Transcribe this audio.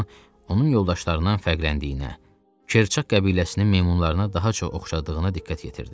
Tarzan onun yoldaşlarından fərqləndiyinə, Kerçaq qəbiləsinin meymunlarına daha çox oxşadığına diqqət yetirdi.